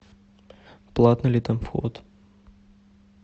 платный ли там вход